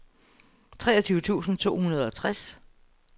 treogtyve tusind to hundrede og tres